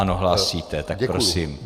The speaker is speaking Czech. Ano, hlásíte, tak prosím.